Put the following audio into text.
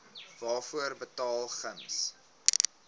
waarvoor betaal gems